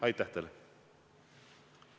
Aitäh teile!